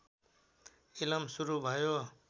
इलम सुरु भयो